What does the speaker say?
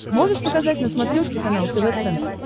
можешь показать на смотрешке канал тв центр